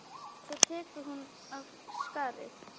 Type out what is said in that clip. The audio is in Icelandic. Svo tekur hún af skarið.